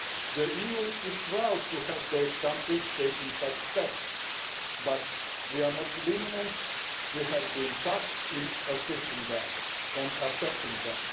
The EU is proud that these countries are taking such steps, but we are not lenient we have been tough in assisting them and assessing them.